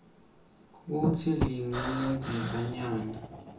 kutsi linga lidhisanyani